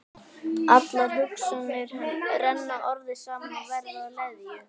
Allar hugsanirnar renna orðið saman og verða að leðju.